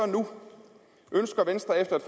nu ønsker venstre efter